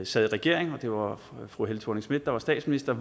sad i regering og det var fru helle thorning schmidt der var statsminister